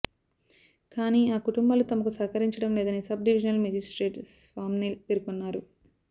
కానీ ఆ కుటుంబాలు తమకు సహకరించడం లేదని సబ్ డివిజనల్ మేజిస్ట్రేట్ స్వామ్నిల్ పేర్కొన్నారు